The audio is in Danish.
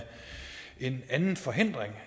en anden forhindring